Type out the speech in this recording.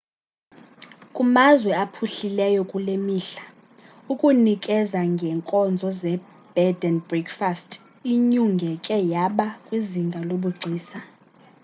kumazwe aphuhlileyo kulemihla ukunikeza ngenkozo ze bed and breakfast inyungeke yaba kwizinga lobugcisa